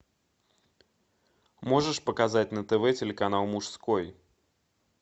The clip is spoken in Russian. можешь показать на тв телеканал мужской